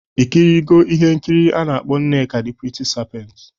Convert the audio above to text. Ị kirigo ihe nkiri a na-akpọ "Nneka the pretty serpent"?